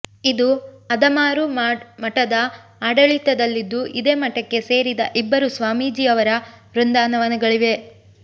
ಇದು ಅದಮಾರು ಮಠದ ಆಡಳಿತದಲ್ಲಿದ್ದು ಇದೇ ಮಠಕ್ಕೆ ಸೇರಿದ ಇಬ್ಬರು ಸ್ವಾಮೀಜಿಯವರ ವೃಂದಾವನಗಳಿವೆ